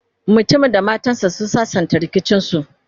mutumin da matan sa sun sassanta rikicin su